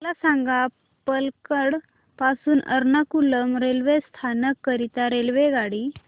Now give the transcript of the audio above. मला सांग पलक्कड पासून एर्नाकुलम रेल्वे स्थानक करीता रेल्वेगाडी